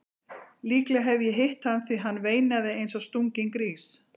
Líklega hef ég hitt hann því hann veinaði eins og stunginn grís.